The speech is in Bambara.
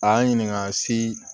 A y'an ɲininka se